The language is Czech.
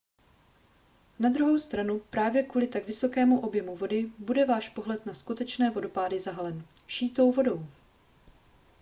na druhou stranu právě kvůli tak vysokému objemu vody bude váš pohled na skutečné vodopády zahalen vší tou vodou